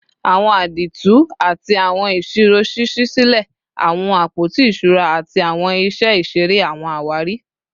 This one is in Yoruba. Awọn àdììtú ati awọn isiro ṣiṣi silẹ awọn apoti iṣura ati awọn iṣẹ iṣere / awọn awari